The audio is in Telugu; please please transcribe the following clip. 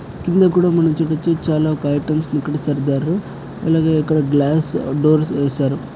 కిందకుడా మనం చుడచు చాలా ఒక ఐటమ్స్ ని ఇక్కడ సర్ద్యారు అలాగే ఇక్కడ గ్లాస్ డోర్స్ వేసారు.